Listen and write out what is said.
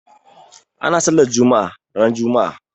Ana sallar juma'a ran juma'a.